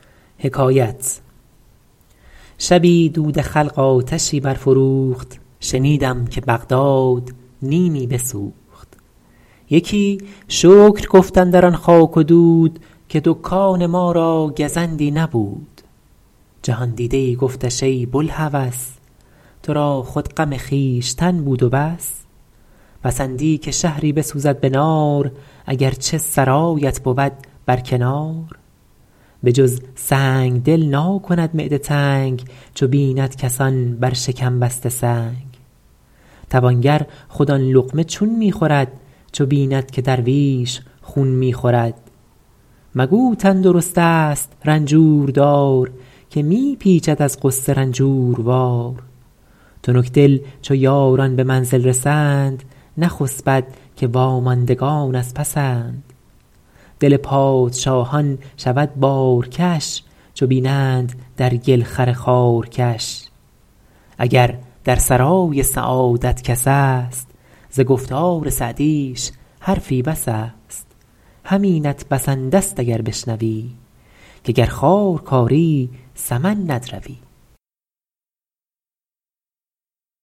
شبی دود خلق آتشی برفروخت شنیدم که بغداد نیمی بسوخت یکی شکر گفت اندران خاک و دود که دکان ما را گزندی نبود جهاندیده ای گفتش ای بوالهوس تو را خود غم خویشتن بود و بس پسندی که شهری بسوزد به نار اگر چه سرایت بود بر کنار به جز سنگدل ناکند معده تنگ چو بیند کسان بر شکم بسته سنگ توانگر خود آن لقمه چون می خورد چو بیند که درویش خون می خورد مگو تندرست است رنجور دار که می پیچد از غصه رنجوروار تنکدل چو یاران به منزل رسند نخسبد که واماندگان از پسند دل پادشاهان شود بارکش چو بینند در گل خر خارکش اگر در سرای سعادت کس است ز گفتار سعدیش حرفی بس است همینت بسنده ست اگر بشنوی که گر خار کاری سمن ندروی